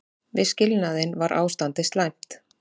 Við skilnaðinn var ástandið slæmt.